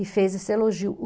E fez esse elogio.